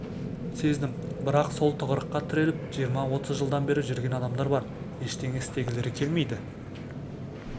сездім бірақ сол тығырыққа тіреліп жиырма отыз жылдан бері жүрген адамдар бар ештеңе істегілері келмейді